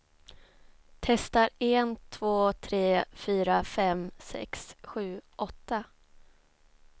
Testar en två tre fyra fem sex sju åtta.